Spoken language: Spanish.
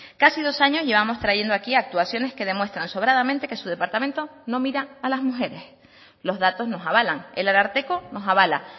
casi dos años llevamos trayendo aquí actuaciones que demuestran sobradamente que su departamento no mira a las mujeres los datos nos avalan el ararteko nos avala